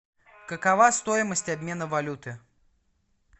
какова стоимость обмена валюты